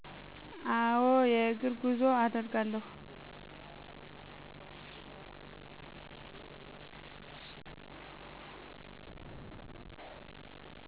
አዎ። የእግር ጉዞ አደርጋለሁ።